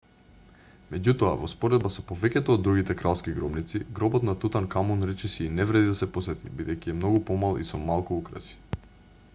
меѓутоа во споредба со повеќето од другите кралски гробници гробот на тутанкамун речиси и не вреди да се посети бидејќи е многу помал и со малку украси